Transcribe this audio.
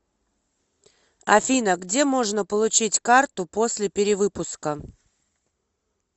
афина где можно получить карту после перевыпуска